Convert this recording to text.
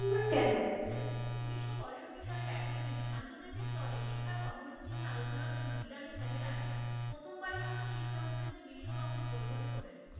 ম্বর কেন? উনিশশো পঁয়ষট্টি সালের একই দিনে আন্তর্জাতিক স্তরে শিক্ষার কর্মসূচী নিয়ে আলোচনার জন্য ইরানের তেহরানের প্রথমবারের মতো শিক্ষামন্ত্রীদের বিশ্ব কংগ্রেস বৈঠকে বসে।